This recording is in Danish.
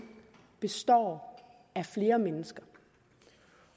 består af flere mennesker